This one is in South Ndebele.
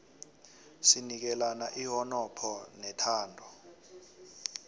sinikelana ihonopho nethando